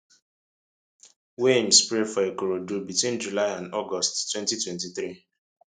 wey im spray for ikorodu between july and august 2023